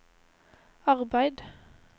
arbeid